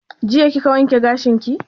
Jiya kika wanke gashin ki?